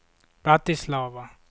Bratislava